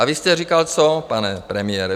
A vy jste říkal co, pane premiére?